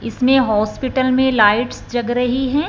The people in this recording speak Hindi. इसमें हॉस्पिटल में लाइट्स जग रही है।